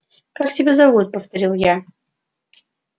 как тебя зовут повторил я